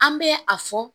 An bɛ a fɔ